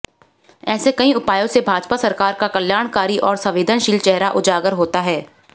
ऐसे कई उपायों से भाजपा सरकार का कल्याणकारी और संवेदनशील चेहरा उजागर होता है